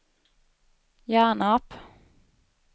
Hjärnarp